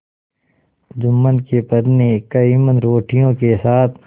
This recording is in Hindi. जुम्मन की पत्नी करीमन रोटियों के साथ